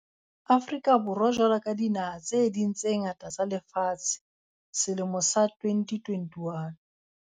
Afrika Borwa jwalo ka dinaha tse ding tse ngata tsa lefatshe, selemo sa 2021.